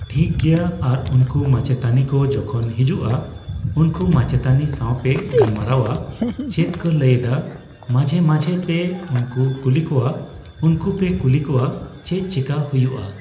ᱴᱷᱤᱠᱜᱮᱭᱟ ᱾ ᱟᱨ ᱩᱱᱠᱩ ᱢᱟᱪᱮᱛᱟᱱᱤ ᱠᱚ ᱡᱚᱠᱷᱚᱱ ᱦᱤᱡᱩᱜᱼᱟ, ᱩᱱᱠᱩ ᱢᱟᱪᱮᱛᱟᱱᱤ ᱥᱟᱣᱯᱮ ᱜᱟᱞᱢᱟᱨᱟᱣᱟ, ᱪᱮᱫ ᱠᱚ ᱞᱟᱹᱭᱮᱫᱟ, ᱢᱟᱡᱷᱮᱼ ᱢᱟᱡᱷᱮ ᱯᱮ, ᱩᱱᱠᱩ ᱠᱩᱞᱤ ᱠᱚᱣᱟ, ᱩᱱᱠᱩ ᱯᱮ ᱠᱩᱞᱤ ᱠᱚᱣᱟ ᱪᱮᱫ ᱪᱮᱠᱟ ᱦᱩᱭᱩᱜᱼᱟ ?